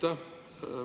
Aitäh!